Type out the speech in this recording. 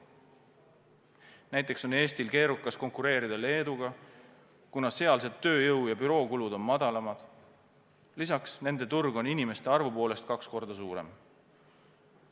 Näiteks on Eestil keerukas konkureerida Leeduga, kuna sealsed tööjõu- ja bürookulud on madalamad, lisaks on nende turg inimeste arvu poolest kaks korda suurem.